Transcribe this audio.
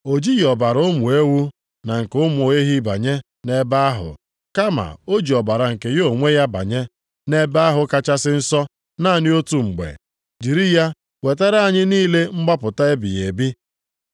o jighị ọbara ụmụ ewu na nke ụmụ ehi banye nʼebe ahụ, kama o ji ọbara nke ya onwe ya banye nʼEbe ahụ Kachasị Nsọ naanị otu mgbe, jiri ya wetara anyị niile mgbapụta ebighị ebi.